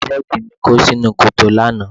Tírọ́ọ̀kì mi kó sínú kòtò lánàá.